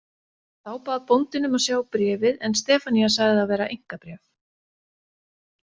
Þá bað bóndinn um að sjá bréfið en Stefanía sagði það vera einkabréf.